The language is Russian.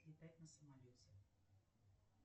летать на самолете